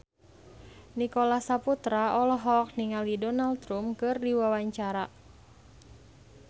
Nicholas Saputra olohok ningali Donald Trump keur diwawancara